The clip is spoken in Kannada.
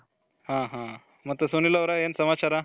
ಮತ್ತೆ ಸುನಿಲ್ ಅವ್ರೆ ಏನ್ ಸಮಾಚಾರ